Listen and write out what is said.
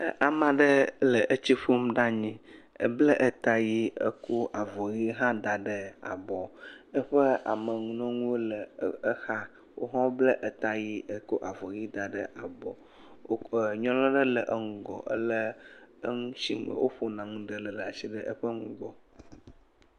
Ama ɖe le etsi ƒom ɖe anyi. Ebla eta ʋee kɔ avɔ ʋe hã da ɖe abɔ. Eƒe ameŋunɔŋuwo le exa. Woawo hã woblɛ eta ʋe kɔ avɔ ʋe da ɖe abɔ. Wokɔ ɛɛ nyɔnua ɖe le eŋgɔ, elé enu shi me woƒona nu ɖe ɖaa shi le eƒe nugbɔ.